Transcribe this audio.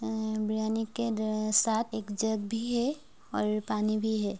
बिर्रियानी के साथ एक जग भी है और पानी भी है।